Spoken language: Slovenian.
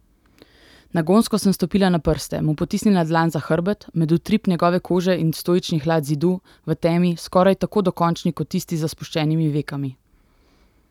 Nagonsko sem stopila na prste, mu potisnila dlan za hrbet, med utrip njegove kože in stoični hlad zidu, v temi, skoraj tako dokončni kot tisti za spuščenimi vekami.